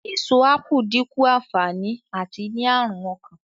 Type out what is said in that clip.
Èso ápù dínkù ànfàní àti ní àrùn ọkàn